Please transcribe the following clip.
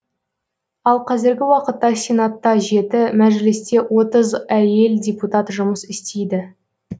ал қазіргі уақытта сенатта жеті мәжілісте отыз әйел депутат жұмыс істейді